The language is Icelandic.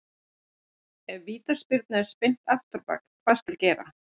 Ef Vítaspyrnu er spyrnt afturábak, hvað skal gera?